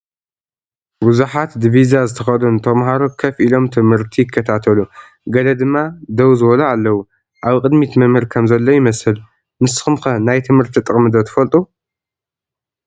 ብዙሓት ዲቪዛ ዝተኸደኑ ተምሃሮ ከፍ ኢሎም ት/ቲ ይከታተሉ ገለ ድማ ደው ዝበሉ ኣለው፡፡ ኣብ ቅድሚት መ/ር ከም ዘሎ ይመስል፡፡ ንስኹም ከ ናይ ት/ቲ ጥቕሚ ዶ ትፈልጡ?